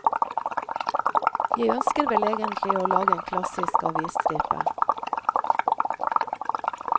Jeg ønsker vel egentlig å lage en klassisk avisstripe.